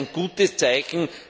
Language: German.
Das ist ein gutes Zeichen.